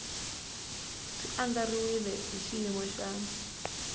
swi andlariwile hi xiyimo xa